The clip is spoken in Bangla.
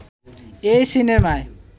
এই সিনেমায়